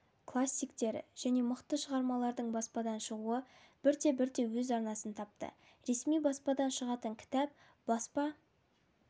классиктері және мықты шығармалардың баспадан шығуы бірте-бірте өз арнасын тапты ресми баспадан шығатын кітап баспа